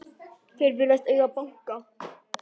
Þeir virðast eiga banka.